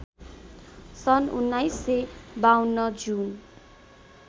सन् १९५२ जुन